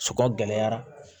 Sɔgɔn gɛlɛyara